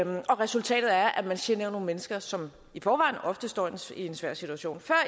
resultatet er at man generer nogle mennesker som i forvejen ofte står i en svær situation før